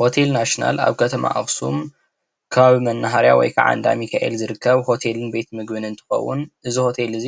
ሆቴል ናሽናል አብ ከተማ አክሱም ከባቢ መናሃርያ ወይ ከዓ አብ እንዳ ሚካኤል ዝርከብ ሆቴልን ቤት ምግብን እንትኸውን እዚ ሆቴል እዚ